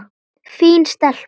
Fín stelpa.